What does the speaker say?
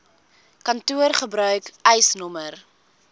kantoor gebruik eisnr